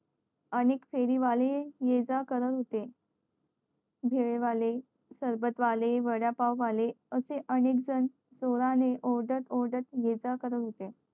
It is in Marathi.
आणि फेरी वाले ये जा करत होते भेळ वाले सरबत वाले वडापाव वाले असे अनेक जण जोराने ओरडत ओरडत ये जा करत होते